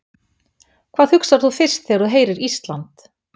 Hvað hugsar þú fyrst þegar þú heyrir Ísland?